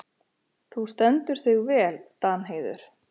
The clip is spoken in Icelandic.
Þú stendur þig vel, Danheiður!